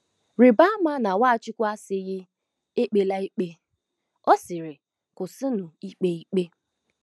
Rịba ama na Nwachukwu asịghị: “ Ekpela ikpe ”; ọ sịrị: “ Kwụsịnụ ikpe ikpe.